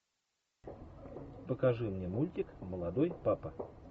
покажи мне мультик молодой папа